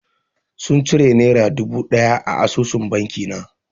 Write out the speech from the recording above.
Sun cire nera dubu ɗaya a asusun banki na.